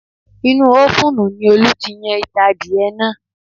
Inú ofuunu ni Olú ti yan itan adìyẹnáà